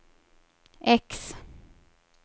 X